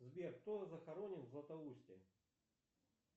сбер кто захоронен в златоусте